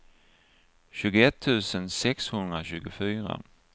tjugoett tusen sexhundratjugofyra